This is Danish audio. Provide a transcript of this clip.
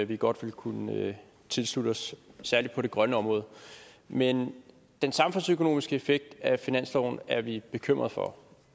vi godt vil kunne tilslutte os særlig på det grønne område men den samfundsøkonomiske effekt af finansloven er vi bekymret for